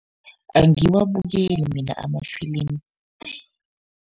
Angiwabukeli mina ama-film.